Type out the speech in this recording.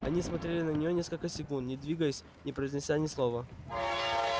они смотрели на нее несколько секунд не двигаясь не произнося ни слова